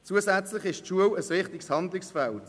Die Schule ist ein zusätzliches wichtiges Handlungsfeld.